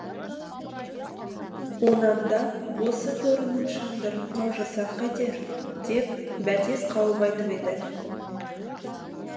онан да осы торының шандырын қаужасақ қайтер деп бәтес қауіп айтып еді